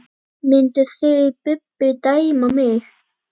Mynduð þið Bubbi dæma mig?